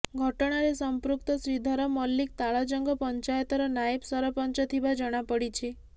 ଘଟଣାରେ ସମ୍ପୃକ୍ତ ଶ୍ରୀଧର ମଲିକ ତାଳଜଙ୍ଗ ପଞ୍ଚାୟତର ନାଏବ ସରପଞ୍ଚ ଥିବା ଜଣାପଡ଼ିଛି